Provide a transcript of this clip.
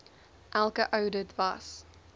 elke oudit was